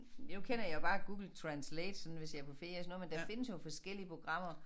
Nu kender jeg bare Google Translate sådan hvis jeg på ferie sådan noget men der findes jo forskellige programmer